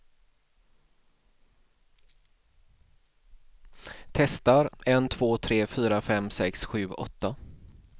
Testar en två tre fyra fem sex sju åtta.